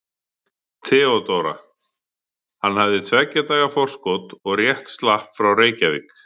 THEODÓRA: Hann hafði tveggja daga forskot og rétt slapp frá Reykjavík.